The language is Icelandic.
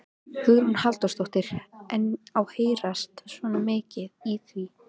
Hugrún Halldórsdóttir: En á að heyrast svona mikið í því?